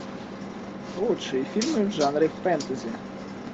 лучшие фильмы в жанре фэнтези